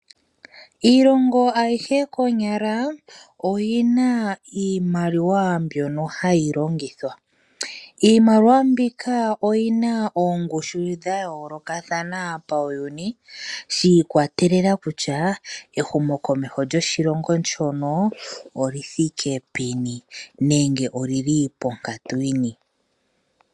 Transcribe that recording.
Iilongo ayihe konyala oyina iimaliwa mbyono hayilongitha. Iimaliwa mbika oyina oongushu dhayoolokathana pawuyuni shiikwatelela kutya, ehumo komeho lyoshilongo shono olithike peni nenge olili ponkatu yini.